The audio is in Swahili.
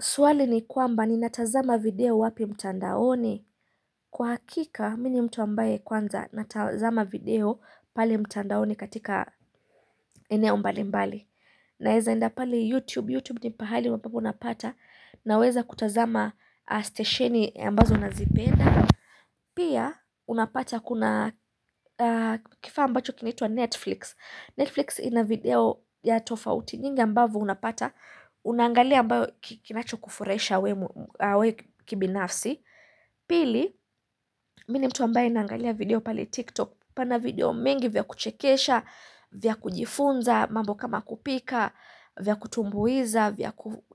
Swali ni kwamba ninatazama video wapi mtandaoni Kwa hakika, mimi ni mtu ambaye kwanza natazama video pale mtandaoni katika maeneo mbalimbali Naeza enda pali YouTube, YouTube ni pahali ambapo unapata Naweza kutazama stesheni ambazo nazipenda Pia, unapata kuna kifaa ambacho kinaitwa Netflix. Netflix ina video ya tofauti nyingi ambavyo unapata Unangalia ambacho kinacho kufurahisha wewe kibinafsi Pili, mimi ni mtu ambaye naangalia video pale TikTok pana video mingi vya kuchekesha, vya kujifunza, mambo kama kupika, vya kutumbuiza